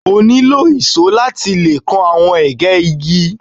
o nilo ìsó lati lẹ awọn ege igi